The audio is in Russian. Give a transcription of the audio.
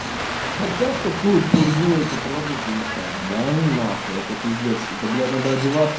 хотя в такую пургу эти пробники искать данунахуй это пиздец да бля надо одеваться